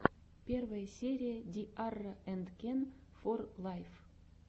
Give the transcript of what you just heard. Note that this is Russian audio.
первая серия ди арра энд кен фор лайф